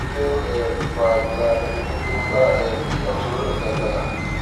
kí ló ń um fa ìrora abẹdógún tó ń bá um ẹyà ọtún lọnà tó lágbára